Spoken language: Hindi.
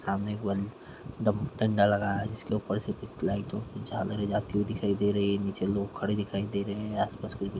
सामने एक डंडा लगा है जिसके ऊपर से कुछ लाइटों की झालरे जाती हुई दिखाई दे रही है नीचे लोग खड़े दिखाई दे रहे है आस-पास कुछ--